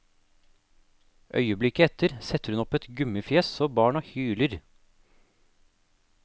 Øyeblikket etter setter hun opp et gummifjes så barna hyler.